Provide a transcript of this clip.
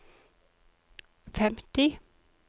femti